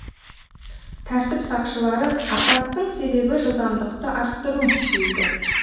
тәртіп сақшылары апаттың себебі жылдамдықты арттыру дейді